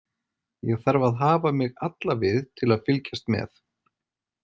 Ég þarf að hafa mig alla við til að fylgjast með.